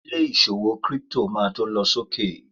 ilé ìṣòwò crypto ma to lọ sókè